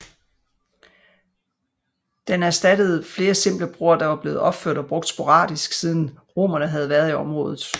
Den erstattede flere simple broer der var blevet opført og brugt sporadisk siden romerne havde været i området